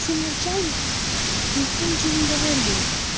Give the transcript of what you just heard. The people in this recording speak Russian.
все молчали и никто ничего не говорил